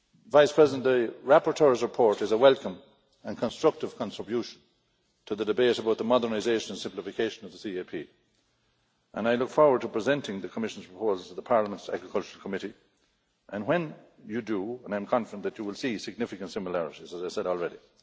Vice President, the rapporteur's report is a welcome and constructive contribution to the debate about the modernisation and simplification of the CAP and I look forward to presenting the Commission's proposals to the Parliament's Agriculture Committee, and when you do, and I am confident that you will see significant similarities, as I said already.